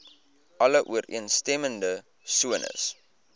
alle ooreenstemmende sones